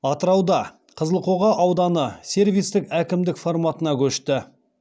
атырауда қызылқоға ауданы сервистік әкімдік форматына көшті